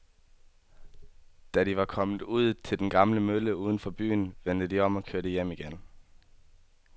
Da de var kommet ud til den gamle mølle uden for byen, vendte de om og kørte hjem igen.